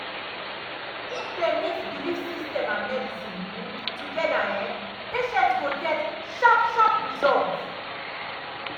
if dem mix belief system and medicine um together um patients go get sharp sharp results.